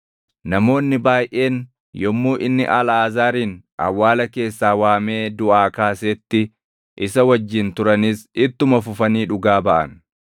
Namoonni baayʼeen yommuu inni Alʼaazaarin awwaala keessaa waamee duʼaa kaasetti isa wajjin turanis ittuma fufanii dhugaa baʼan.